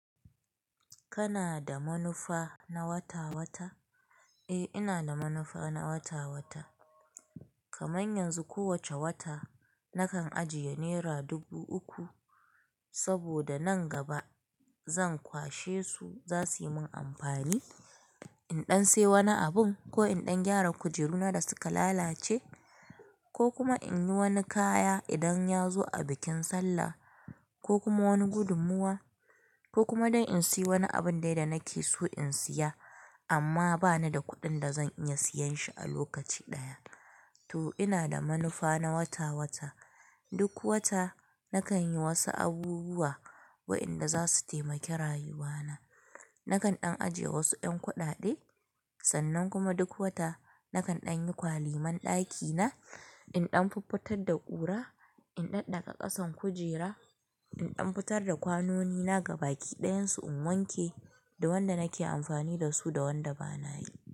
Kana da manufa na wata-wata? Eh, ina da manufa na wata-wata. Kamar yanzu, kowacce wata nakan ajiye nera dubu uku saboda nan gaba zan kwashe su, za su yi min amfani in ɗan siya wani abun ko in ɗan gyara kujeruna da suka lalace ko kuma in yi wani kaya idan ya zo a bikin sallah ko kuma wani gudunmawa ko kuma don in siyi wani abin dai da nake so in siya amma bani da kuɗin da zan iya siyan shi a lokaci ɗaya. To ina da manufa na wata-wata. Duk wata nakan yi wasu abubuwa waɗanda za su taimaki rayuwana. Nakan ɗan ajiye wasu ƴan kuɗaɗe, sannan kuma duk wata nakan ɗan yi kwalemar ɗakina, in ɗan fuffutar da ƙura, in ɗaddaga ƙasan kujera, in ɗan fitar da kwanoni na ga baki ɗayan su in wanke da wanda nake amfani da su da wanda bana yi.